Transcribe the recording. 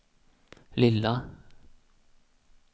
lilla